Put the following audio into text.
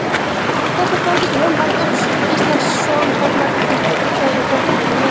Þetta staðfesti Jón Halldór Gíslason formaður knattspyrnudeildar Grindavíkur við Fótbolta.net í dag.